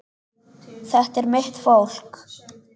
Þetta er mitt fólk.